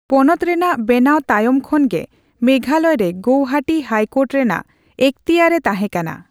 ᱯᱚᱱᱚᱛ ᱨᱮᱱᱟᱜ ᱵᱮᱱᱟᱣ ᱛᱟᱭᱚᱢ ᱠᱷᱚᱱ ᱜᱮ ᱢᱮᱜᱷᱟᱞᱚᱭ ᱨᱮ ᱜᱳᱣᱦᱟᱴᱤ ᱦᱟᱭᱠᱳᱨᱴ ᱨᱮᱱᱟᱜ ᱮᱠᱷᱛᱤᱭᱟᱨ ᱮ ᱛᱟᱸᱦᱮᱠᱟᱱᱟ ᱾